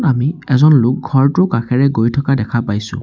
আমি এজন লোক ঘৰটোৰ কাষেৰে গৈ থকা দেখা পাইছোঁ।